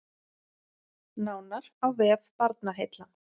Nánar á vef Barnaheilla